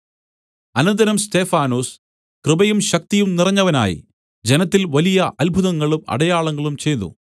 അനന്തരം സ്തെഫാനൊസ് കൃപയും ശക്തിയും നിറഞ്ഞവനായി ജനത്തിൽ വലിയ അത്ഭുതങ്ങളും അടയാളങ്ങളും ചെയ്തു